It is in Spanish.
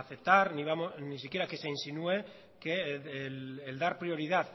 aceptar ni siquiera que se insinúe que el dar prioridad